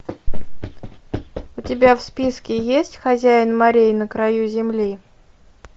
у тебя в списке есть хозяин морей на краю земли